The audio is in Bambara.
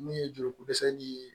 Min ye joli ko dɛsɛ de ye